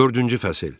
Dördüncü fəsil.